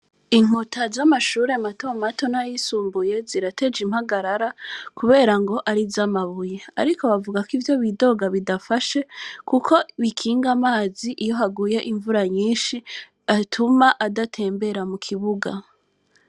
Inkuta z’amashure mato mato n’ayisumbuye, zirateje impagarara kubera ngo ari iz’amabuye; ariko bavuga ko ivyo bidoga bidafashe, kuko bikinga amazi iyo haguye imvura nyinshi, atuma adatembera mu kibuga.